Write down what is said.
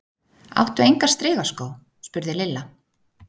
Áttu enga strigaskó? spurði Lilla.